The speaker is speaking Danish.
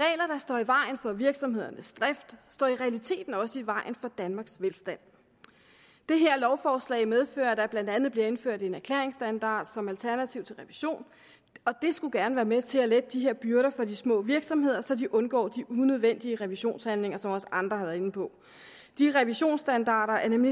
regler der står i vejen for virksomhedernes drift står i realiteten også i vejen for danmarks velstand det her lovforslag medfører at der blandt andet bliver indført en erklæringsstandard som alternativ til revision og det skulle gerne være med til at lette de her byrder for de små virksomheder så de undgår de unødvendige revisionshandlinger som også andre har været inde på de revisionsstandarder er nemlig